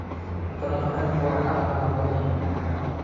Cunto-dhaqameedku waa ka caafimaad badan yihiin.